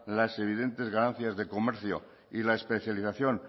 las evidentes ganancias de comercio y la especialización